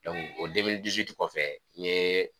o kɔfɛ n ye.